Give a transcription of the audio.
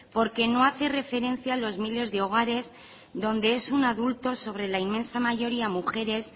porque no hace referencia a los miles de hogares donde es un adulto sobre la inmensa mayoría mujeres